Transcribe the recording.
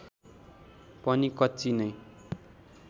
पनि कच्ची नै